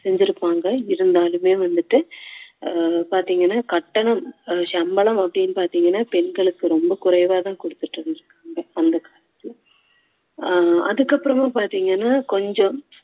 செஞ்சிருப்பாங்க இருந்தாலுமே வந்துட்டு அஹ் பாத்தீங்கன்னா கட்டணம் சம்பளம் அப்படின்னு பாத்தீங்கன்னா பெண்களுக்கு ரொம்ப குறைவா தான் கொடுத்துட்டு இருந்துருக்காங்க அந்த காலத்துல அஹ் அதுக்கப்புறமா பார்த்தீங்கன்னா கொஞ்சம்